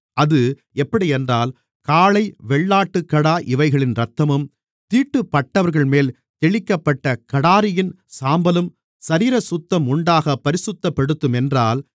அது எப்படியென்றால் காளை வெள்ளாட்டுக்கடா இவைகளின் இரத்தமும் தீட்டுப்பட்டவர்கள்மேல் தெளிக்கப்பட்ட கடாரியின் சாம்பலும் சரீரசுத்தம் உண்டாகப் பரிசுத்தப்படுத்துமென்றால்